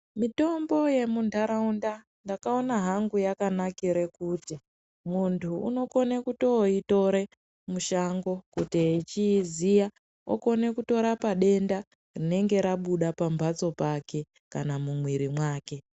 Mitombo yemundaraunda ndakaona yakanakira kuti muntu unokona kutoitora mushango kuti echiiziya okona kutorapa denda rinenge rabuda pambatso pake kana mumwiiri make.